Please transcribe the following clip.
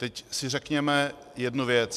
Teď si řekněme jednu věc.